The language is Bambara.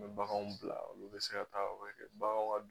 U bɛ baganw bila olu bɛ se ka taa o bɛ kɛ baganw ka